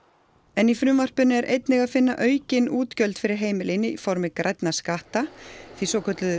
en í frumvarpinu er einnig að finna aukin útgjöld fyrir heimilin í formi grænna skatta því svokölluðu